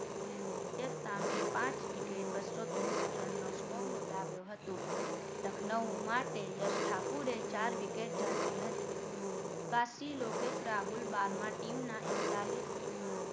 પુણે સામે પાંચ wicket બસો ત્રેસઠ રન નો score નોંધાવ્યો હતો લખનઉ માટે યશ ઠાકુરે ચાર wicket ઝડપી હતી બાકી લોકેસ રાહુલ બારમા team ના એકતાલીશ બારમા